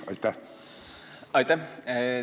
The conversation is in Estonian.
Aitäh!